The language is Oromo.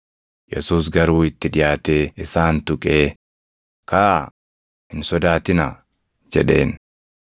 Yesuus garuu itti dhiʼaatee isaan tuqee, “Kaʼaa! Hin sodaatinaa” jedheen.